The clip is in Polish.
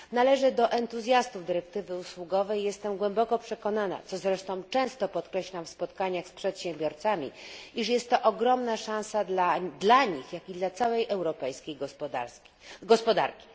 Należę do entuzjastów dyrektywy usługowej i jestem głęboko przekonana, co zresztą często podkreślam w spotkaniach z przedsiębiorcami, iż jest to ogromna szansa zarówno dla nich, jak i dla całej europejskiej gospodarki.